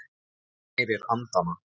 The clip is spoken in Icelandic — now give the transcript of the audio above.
Þú ærir andana!